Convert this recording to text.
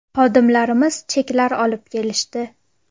Xodimlarimiz cheklar olib kelishdi.